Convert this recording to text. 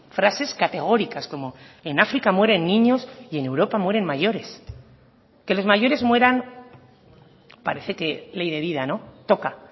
frases categóricas como en áfrica mueren niños y en europa mueren mayores que los mayores mueran parece que ley de vida toca